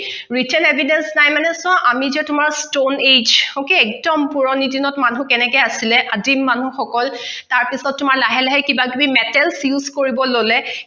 recen evidence নাই মানে চোৱা আমি যে তোমাক stone age okay একদম পুৰণি দিনত মানুহ কেনেকে আছিলে আদিম মানুহ সকল তাৰ পিছত তোমাৰ লাহে লাহে কিবা কিবি metal use কৰিবলৈ ললে